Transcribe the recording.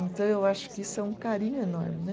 Então, eu acho que isso é um carinho enorme, né?